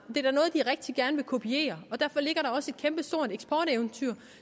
det er gerne vil kopiere og derfor ligger der også et kæmpestort eksporteventyr